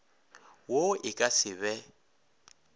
wo e ka se be